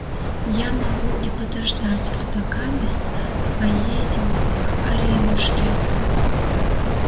я могу и подождать а покамест поедем к аринушке